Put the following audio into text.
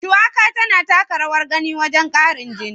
Shuwaka tana taka rawar gani wajen ƙarin jini.